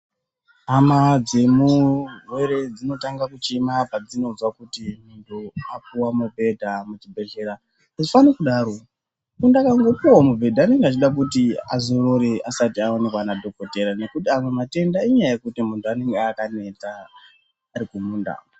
Hama dzemurwere dzinotanga kuchema padzinozi muntu apuwa mubhedha kuchibhedhleya hazvifani kudaro muntu akangopuwa mubhedha unenge achida kuzi azorore asati aonekwa madhokodheya ngekuti mamwe matenda inyaya yekuti munhu anenge akaneta .....